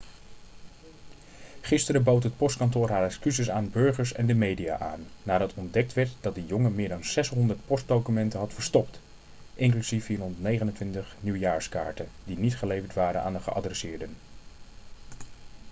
gisteren bood het postkantoor haar excuses aan burgers en de media aan nadat ontdekt werd dat de jongen meer dan 600 postdocumenten had verstopt inclusief 429 nieuwjaarskaarten die niet geleverd waren aan de geadresseerden